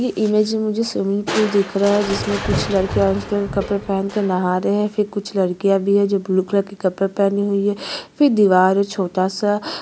ये इमेज में मुझे स्विमिंग पूल दिख रहा है जिसमें कुछ लड़के ओन स्क्रीन कपडे पहन कर नहा रहे है फिर कुछ लड़कियां भी हैं ब्लू कलर के कपडे पहने हुई है फिर दीवार है छोटा सा --